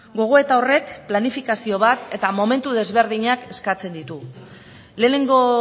gogoeta horrek planifikazio bat eta momentu desberdinak eskatzen ditu lehenengo